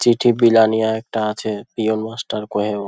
চিঠি বিলানিয়া একটা আছে পিওন মাস্টার কয় ও--